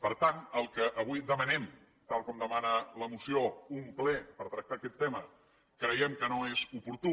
per tant el que avui demanem tal com demana la moció un ple per tractar aquest tema creiem que no és oportú